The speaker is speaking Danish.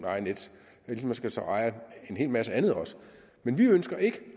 eje nets man skal så eje en hel masse andet også men vi ønsker ikke